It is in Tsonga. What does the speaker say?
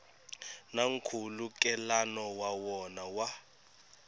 na nkhulukelano wa wona wa